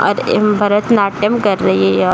और ए भरतनाट्यम कर रही है। यह --